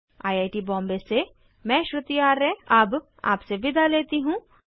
I I T Bombay से मैं श्रुति आर्य अब आपसे विदा लेती हूँ